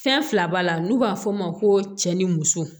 Fɛn fila b'a la n'u b'a fɔ o ma ko cɛ ni muso